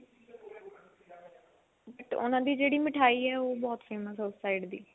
ਉਹਨਾ ਦੀ ਜਿਹੜੀ ਮਿਠਾਈ ਹੈ ਉਹ ਬਹੁਤ famous ਹੈ ਉਸ side ਦੀ